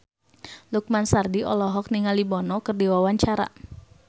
Lukman Sardi olohok ningali Bono keur diwawancara